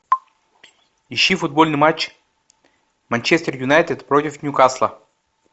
ищи футбольный матч манчестер юнайтед против ньюкасла